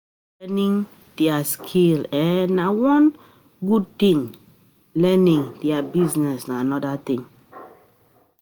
Learning di skill na one thing, learning di business na another thing